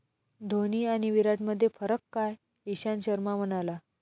धोनी आणि विराटमध्ये फरक काय? इशांत शर्मा म्हणाला...